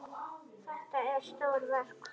Þetta eru stór verk.